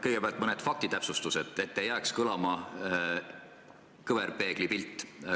Kõigepealt mõned faktitäpsustused, et ei jääks silme ette kõverpeegli pilt.